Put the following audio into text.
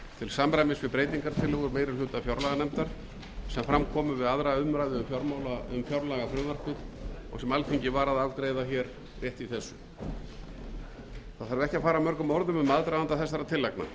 samræmis við breytingartillögur meiri hluta fjárlaganefndar sem fram komu við aðra umræðu um fjárlagafrumvarpið og sem alþingi var að afgreiða rétt í þessu það þarf ekki að fara mörgum orðum um aðdraganda þessara tillagna